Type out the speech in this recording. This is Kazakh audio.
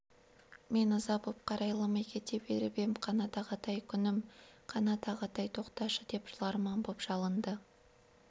мен ыза боп қарайламай кете беріп ем қанат ағатай күнім ағатай тоқташы деп жыларман боп жалынды